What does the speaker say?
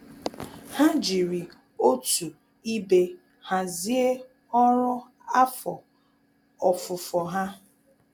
Há jìrì òtù ibe hàzị́e ọ́rụ́ afọ ofufo ha.